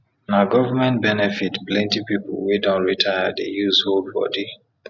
na govment benefit plenti pipu wey don retire dey use hold bodi